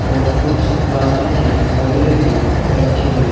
और कुछ प्लास्टिक की बोतलें भी रखी हुई हैं।